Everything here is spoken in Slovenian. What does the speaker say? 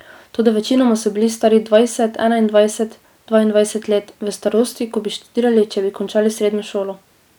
Toda večinoma so bili stari dvajset, enaindvajset, dvaindvajset let, v starosti, ko bi študirali, če bi končali srednjo šolo.